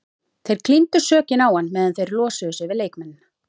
Þeir klíndu sökinni á hann meðan þeir losuðu sig við leikmennina.